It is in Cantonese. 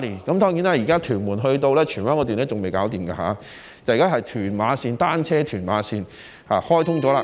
當然，屯門到荃灣路段還未完成，現在開通的是屯馬單車線。